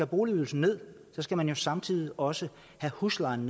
boligydelsen ned skal man jo samtidig også have huslejen